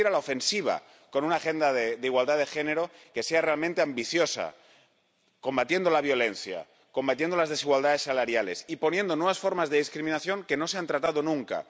Tenemos que ir a la ofensiva, con una agenda de igualdad de género que sea realmente ambiciosa, combatiendo la violencia, combatiendo las desigualdades salariales e incluyendo nuevas formas de discriminación que no se han tratado nunca.